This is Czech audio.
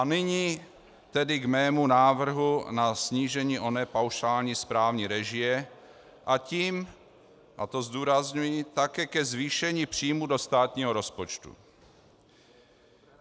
A nyní tedy k mému návrhu na snížení oné paušální správní režie, a tím, a to zdůrazňuji, také ke zvýšení příjmů do státního rozpočtu.